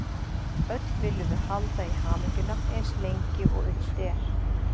Öll viljum við halda í hamingjuna eins lengi og unnt er.